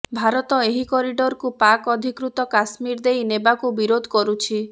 ଭାରତ ଏହି କରିଡରକୁ ପାକ୍ ଅଧିକୃତ କାଶ୍ମୀର ଦେଇ ନେବାକୁ ବିରୋଧ କରୁଛି